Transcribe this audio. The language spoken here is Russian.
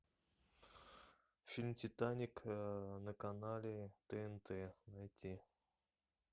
фильм титаник на канале тнт найти